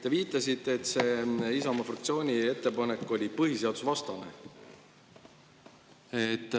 Te viitasite, et Isamaa fraktsiooni ettepanek oli põhiseadusvastane.